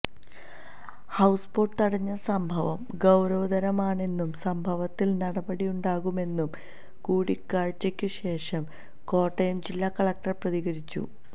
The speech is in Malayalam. ഹൌസ് ബോട്ട് തടഞ്ഞ സംഭവം ഗൌരവതരമാണെന്നും സംഭവത്തില് നടപടിയുണ്ടാകുമെന്നും കൂടിക്കാഴ്ചയ്ക്കുശേഷം കോട്ടയം ജില്ലാ കളക്ടര് പ്രതികരിച്ചു